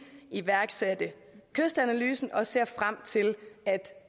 iværksatte kystanalysen og vi ser frem til at